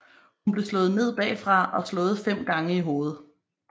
Hun blev slået ned bagfra og slået fem gange i hovedet